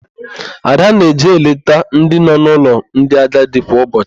Ada na-eje eleta ndị nọ n'ụlọ ndị agadi kwa ụbọchị.